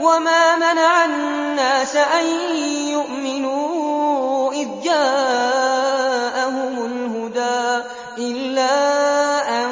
وَمَا مَنَعَ النَّاسَ أَن يُؤْمِنُوا إِذْ جَاءَهُمُ الْهُدَىٰ إِلَّا أَن